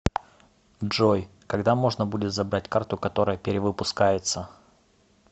джой когда можно будет забрать карту которая перевыпускается